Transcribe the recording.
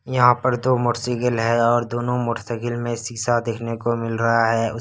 यहां पर दो मोटरसाइकिल है और दोनों मोटरसाइकिल में शीशा देखने को मिल रहा है उ --